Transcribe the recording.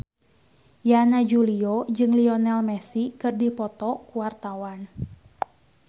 Yana Julio jeung Lionel Messi keur dipoto ku wartawan